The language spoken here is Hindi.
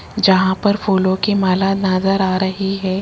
जहां पर फूलों की माला नजर आ रही है।